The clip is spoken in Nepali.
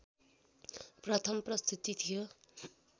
प्रथम प्रस्तुति थियो